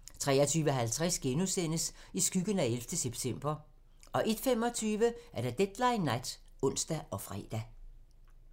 23:50: I skyggen af 11. september * 01:25: Deadline nat (ons og fre)